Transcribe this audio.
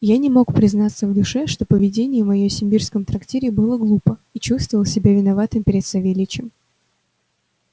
я не мог не признаться в душе что поведение моё в симбирском трактире было глупо и чувствовал себя виноватым перед савельичем